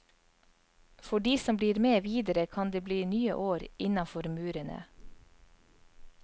For de som blir med videre kan det bli nye år innafor murene.